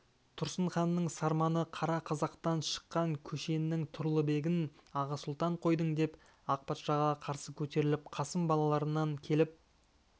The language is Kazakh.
тұрсынханның сарманы қара қазақтан шыққан көшеннің тұрлыбегін аға сұлтан қойдың деп ақ патшаға қарсы көтеріліп қасым балаларына келіп